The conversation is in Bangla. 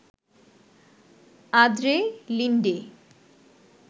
Andre Linde